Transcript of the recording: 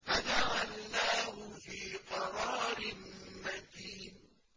فَجَعَلْنَاهُ فِي قَرَارٍ مَّكِينٍ